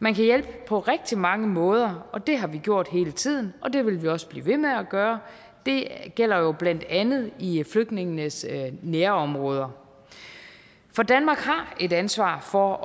man kan hjælpe på rigtig mange måder og det har vi gjort hele tiden og det vil vi også blive ved med at gøre det gælder blandt andet i flygtningenes nærområder for danmark har et ansvar for